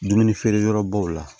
Dumuni feere yɔrɔbaw la